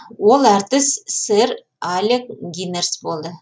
ол әртіс сэр алек гинерс болды